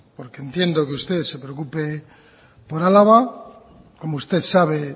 porque entiendo que usted se preocupe por álava como usted sabe